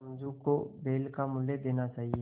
समझू को बैल का मूल्य देना चाहिए